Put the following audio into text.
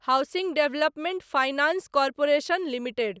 housing development finance corporation limited